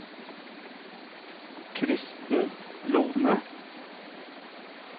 Kristen Lohne